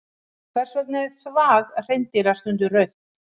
Hvers vegna er þvag hreindýra stundum rautt?